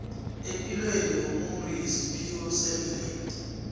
epilo yomuntu yesiphiwo semvelo